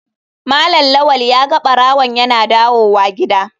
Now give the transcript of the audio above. Malam lawal ya ga barawon yana dawowa gida.